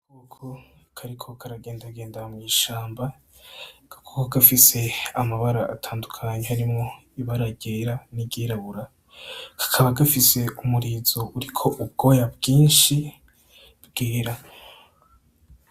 Agakoko kariko karagendagenda mw'ishamba ako gakoko gafise amabara atandukanye harimwo ibara ryera n'iryirabura kakaba gafise umurizo uriko ubwoya bwinshi bwera.